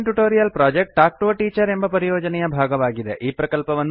spoken tutorial project talk to a teacher ಎಂಬ ಪರಿಯೋಜನೆಯ ಭಾಗವಾಗಿದೆ